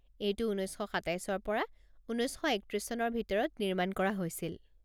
এইটো উনৈছ শ সাতাইছৰ পৰা উনৈছ শ একত্ৰিছ চনৰ ভিতৰত নিৰ্মাণ কৰা হৈছিল।